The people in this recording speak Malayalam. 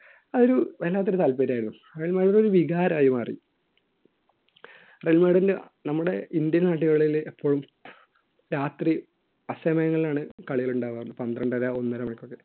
അതൊരു വല്ലാത്ത ഒരു താല്പര്യമായിരുന്നു അതൊരു വികാരമായി മാറി റയൽ മാഡ്രിന് നമ്മുടെ ഇന്ത്യൻ നാടുകളിൽ എപ്പോഴും രാത്രി അസമയങ്ങളിലാണ് കളികൾ ഉണ്ടാവുക പന്ത്രണ്ടര ഒന്നരമണിക്കൊക്കെ